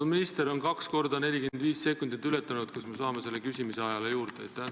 Kui minister on kaks korda 45 sekundit ületanud, siis kas me saame selle küsimise ajale juurde?